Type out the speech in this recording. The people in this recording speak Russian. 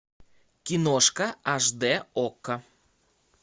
киношка аш дэ окко